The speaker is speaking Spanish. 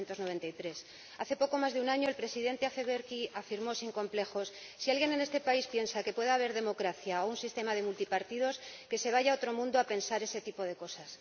1993. Hace poco más de un año, el Presidente Afewerki afirmó sin complejos Si alguien en este país piensa que puede haber democracia o un sistema de multipartidos, que se vaya a otro mundo a pensar ese tipo de cosas..